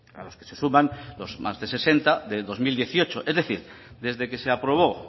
a los que se suman más de sesenta del dos mil dieciocho es decir desde que se aprobó